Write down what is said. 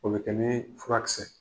O bɛ kɛ ni furakisɛsɛ ye.